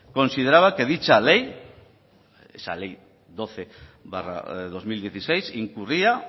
consideraba que dicha ley esa ley doce barra dos mil dieciséis incurría